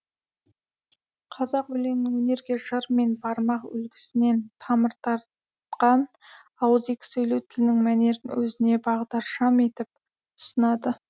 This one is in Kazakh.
қазақ өлеңінің өнерге жыр мен бармақ үлгісінен тамыр тартқан ауызекі сөйлеу тілінің мәнерін өзіне бағдаршам етіп ұсынады